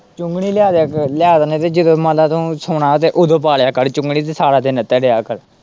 ਚੁੰਘਣੀ ਲਿਆ ਦਿੰਨੇ ਕਿ ਜਦੋਂ ਮੰਨ ਲੈ ਤੂੰ ਸੌਣਾ ਤੇ ਉੱਦੋਂ ਪਾ ਲਿਆ ਕਰ ਚੁੰਘਣੀ ਤੇ ਸਾਰਾ ਦਿਨ ਇੱਦਾ ਰਿਹਾ ਕਰ।